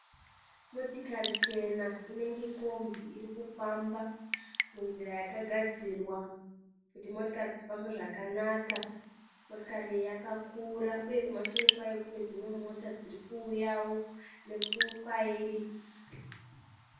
Motokari chena inenge kombi iri kufamba munzira yakagadzirwa kuti motokari dzifambe zvakanaka. Motokari iyi yakakura uye kumashure kwayo kune dzimwe mota dziri kuuyawo nekwairi.